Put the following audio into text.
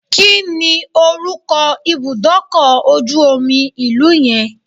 Kí ni orúkọ ibùdókọ̀ ojú omi ìlú yẹn?